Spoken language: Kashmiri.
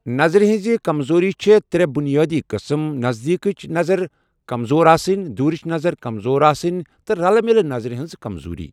نظرِ ہنزِ كمزوٗری چھِ ترٛےٚ بُنیٲدی قٕسم نزدیكِچہِ نظر كمزور آسٕنۍ ، دوٗرِچ نظر كمزور آسٕنۍ تہِ رلہٕ مِلہِ نظرِ ہنز كمزوٗری۔